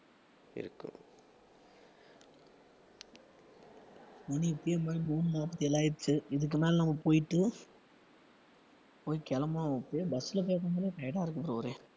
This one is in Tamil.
மணி இப்போவே மணி மூணு நாற்பத்தி ஏழாயிருச்சு இதுக்கு மேல நம்ம போயிட்டு போய் கிளம்புவோம் போய் bus ல போய் உக்காந்தாலே tired ஆ இருக்கும் bro ஒரே